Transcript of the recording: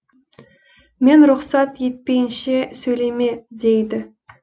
мен рұқсат етпейінше сөйлеме дейді